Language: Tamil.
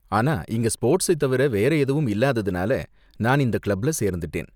ஆனா, இங்க ஸ்போர்ட்ஸை தவிர வேற எதுவும் இல்லாததுனால நான் இந்த கிளப்ல சேர்ந்துட்டேன்.